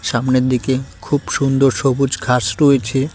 সামনের দিকে খুব সুন্দর সবুজ ঘাস রয়েছে।